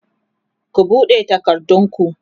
ku buɗe takardun ku!